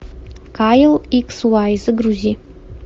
кайл икс вай загрузи